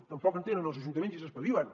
tampoc en tenen els ajuntaments i s’espavilen